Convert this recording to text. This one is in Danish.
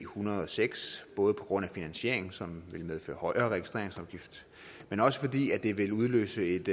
hundrede og seks både på grund af finansieringen som ville medføre højere registreringsafgift men også fordi det ville udløse et